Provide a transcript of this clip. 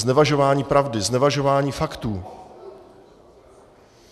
Znevažování pravdy, znevažování faktů.